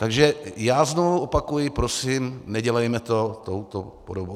Takže já znovu opakuji - prosím, nedělejme to touto podobou.